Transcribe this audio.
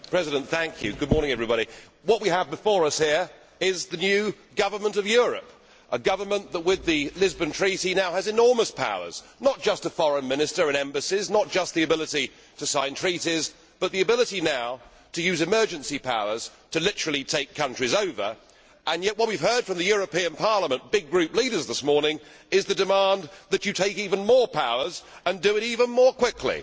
Mr President, what we have before us here is the new government of Europe, a government that, with the Lisbon Treaty, now has enormous powers, not just a Foreign Minister and embassies, not just the ability to sign treaties, but the ability now to use emergency powers to literally take countries over, and yet what we have heard from the European Parliament's big group leaders this morning is the demand that you take even more powers and do it even more quickly.